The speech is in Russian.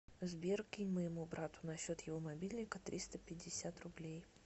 сбер кинь моему брату на счет его мобильника триста пятьдесят рублей